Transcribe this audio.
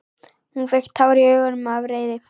Hún fékk tár í augun af reiði.